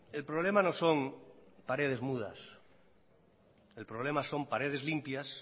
el problema no son paredes mudas el problema son paredes limpias